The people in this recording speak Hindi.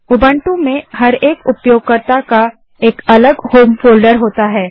उबंटू में प्रत्येक उपयोगकर्ता का एक अलग होम फोल्डर होता है